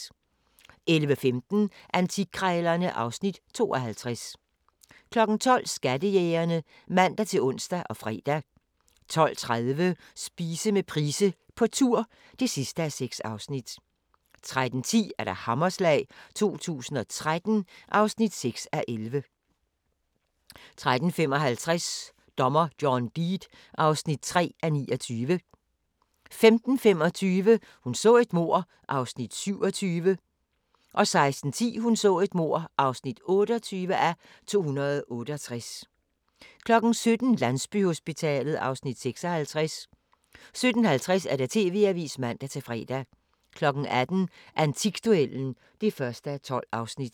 11:15: Antikkrejlerne (Afs. 52) 12:00: Skattejægerne (man-ons og fre) 12:30: Spise med Price på tur (6:6) 13:10: Hammerslag 2013 (6:11) 13:55: Dommer John Deed (3:29) 15:25: Hun så et mord (27:268) 16:10: Hun så et mord (28:268) 17:00: Landsbyhospitalet (Afs. 56) 17:50: TV-avisen (man-fre) 18:00: Antikduellen (1:12)